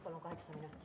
Palun kaheksa minutit.